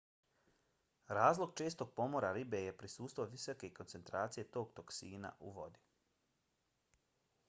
razlog čestog pomora ribe je prisustvo visoke koncentracije tog toksina u vodi